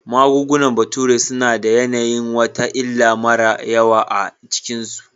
Magungunan bature suna da yanayin wata illa mara yawa a cikinsu